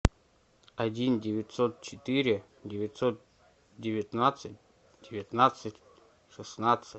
один девятьсот четыре девятьсот девятнадцать девятнадцать шестнадцать